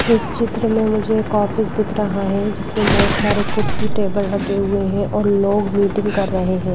इस चित्र में मुझे एक ऑफिस दिख रहा है जिसमें बहोत सारे कुर्सी टेबल रखे हुए हैं और लोग मीटिंग कर रहे हैं।